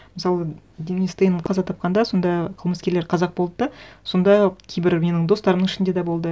мысалы денис тен қаза тапқанда сонда қылмыскерлер қазақ болды да сонда кейбір менің достарымның ішінде де болды